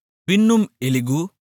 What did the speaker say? பின்னும் எலிகூ